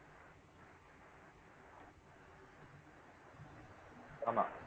ஆமா